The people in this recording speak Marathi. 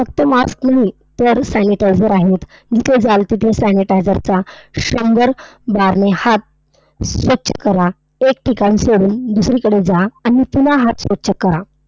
फक्त mask नाही, तर sanitizer आहेत. जिथे जाल तिथे sanitizer चा शंभर बारने हात स्वच्छ करा. एक ठिकाण सोडून दुसरीकडे जा आणि पुन्हा हात स्वच्छ करा.